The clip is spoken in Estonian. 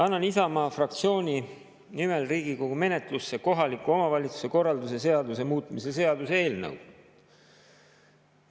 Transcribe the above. Annan Isamaa fraktsiooni nimel Riigikogu menetlusse kohaliku omavalitsuse korralduse seaduse muutmise seaduse eelnõu.